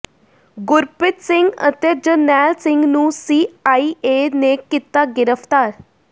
ਗੁਰਪ੍ਰੀਤ ਸਿੰਘ ਅਤੇ ਜਰਨੈਲ ਸਿੰਘ ਨੂੰ C I A ਨੇ ਕੀਤਾ ਗਿਰਫਤਾਰ